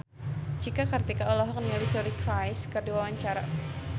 Cika Kartika olohok ningali Suri Cruise keur diwawancara